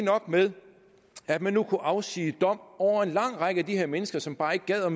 nok med at man nu kunne afsige dom over en lang række af de her mennesker som bare ikke gad at